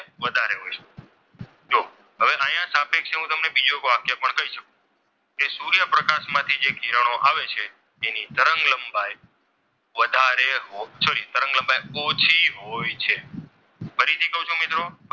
એટલે કે એની ફ્રીક્વન્સી કેવી હોય છે? અહીંયા સાપેક્ષે હું તમને બીજું વાક્ય પણ કહી શકું કે સૂર્યપ્રકાશ માંથી જે કિરણો આવે છે તેની તરંગ લંબાઈ વધારે sorry તરંગ લંબાઈ ઓછી હોય છે ફરીથી કહું છું મિત્રો